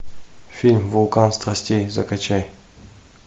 фильм вулкан страстей закачай